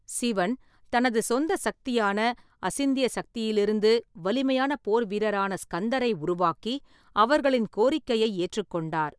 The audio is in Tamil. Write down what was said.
சிவன் தனது சொந்த சக்தியான அசிந்திய சக்தியிலிருந்து வலிமையான போர்வீரரான ஸ்கந்தரை உருவாக்கி, அவர்களின் கோரிக்கையை ஏற்றுக்கொண்டார்.